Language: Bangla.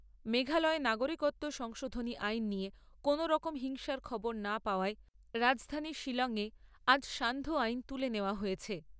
মেঘালয়ে নাগরিকত্ব সংশোধনী আইন নিয়ে কোনো রকম হিংসার খবর না পাওয়ায় রাজধানী শিলং এ আজ সান্ধ্য আইন তুলে নেওয়া হয়েছে।